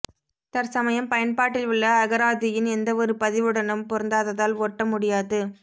தற்சமயம் பயன்பாட்டில் உள்ள அகராதியின் எந்தவொரு பதிவுடனும் பொருந்தாததால் ஒட்ட முடியாது